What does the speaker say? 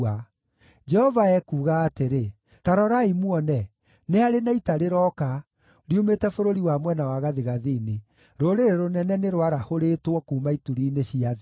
Jehova ekuuga atĩrĩ: “Ta rorai muone, nĩ harĩ na ita rĩroka riumĩte bũrũri wa mwena wa gathigathini; rũrĩrĩ rũnene nĩ rwarahũrĩtwo kuuma ituri-inĩ cia thĩ.